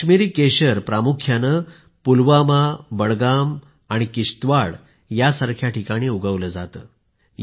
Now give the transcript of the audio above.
कश्मीरी केशर प्रामुख्याने पुलवामा बडगाम आणि किश्तवाड़ सारख्या ठिकाणी उगवलं जातं